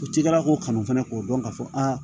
O cikɛla ko kanu fana k'o dɔn ka fɔ aa